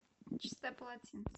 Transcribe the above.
чистое полотенце